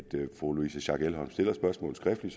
fru louise schack elholm stiller spørgsmålet skriftligt